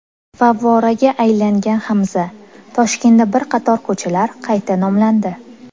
Favvoraga aylangan Hamza: Toshkentda bir qator ko‘chalar qayta nomlandi.